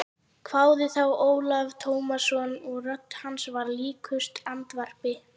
hváði þá Ólafur Tómasson og rödd hans var líkust andvarpi.